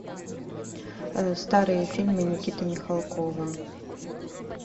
старые фильмы никиты михалкова